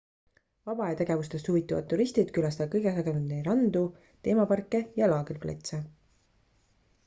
vabaajategevustest huvituvad turistid külastavad kõige sagedamini randu teemaparke ja laagriplatse